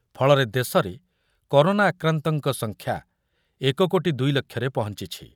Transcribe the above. ଫଳରେ ଦେଶର କରୋନା ଆକ୍ରାନ୍ତଙ୍କ ସଂଖ୍ୟା ଏକ କୋଟି ଦୁଇ ଲକ୍ଷରେ ପହଞ୍ଚିଛି।